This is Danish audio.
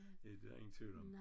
Ja det der ingen tvivl om